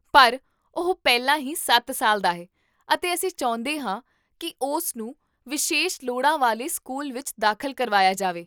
ਪਰ, ਉਹ ਪਹਿਲਾਂ ਹੀ ਸੱਤ ਸਾਲ ਦਾ ਹੈ ਅਤੇ ਅਸੀਂ ਚਾਹੁੰਦੇ ਹਾਂ ਕਿ ਉਸਨੂੰ ਵਿਸ਼ੇਸ਼ ਲੋੜਾਂ ਵਾਲੇ ਸਕੂਲ ਵਿੱਚ ਦਾਖਲ ਕਰਵਾਇਆ ਜਾਵੇ